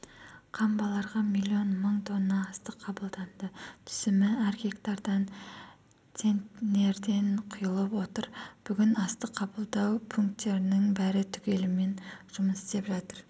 қамбаларға миллион мың тонна астық қабылданды түсімі әр гектардан центнерден құйылып жатыр бүгін астық қабылдау пункттерінің бәрі түгелімен жұмыс істеп жатыр